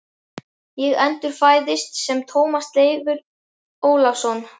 Ég endurfæðist sem Tómas Leifur Ólafsson.